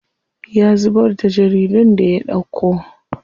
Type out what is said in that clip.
Ya zubar da jaridun da ya ɗauko.